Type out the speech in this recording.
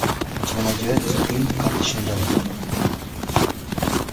у тебя найдется фильм карточный домик